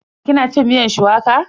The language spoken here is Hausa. Ki na cin miyar shuwaka?